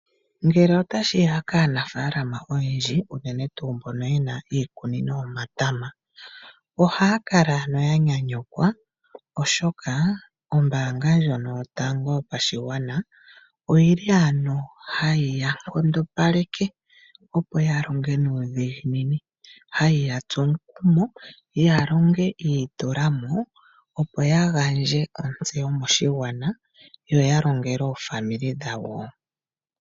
Ngele tashi ya kaanafaalama oyendji, unene tuu mboka ye na iikunino yomatama, ohaya kala ya nyanyukwa, oshoka ombaanga ndjoka yotango yopashigwana ohayi ya nkondopaleke, opo ya longe nuudhiginini, hayi ya tsu omukumo ya longe yi itula mo, opo ya gandje ontseyo moshigwana yo ya longele aapambele yawo.